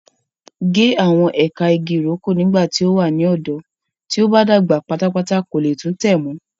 Ge awọn ẹka ìgi ìrókò nígbàtí o wa ni ọdọ, tí o ba dàgbà pátápátá ko le tun tẹ mọ.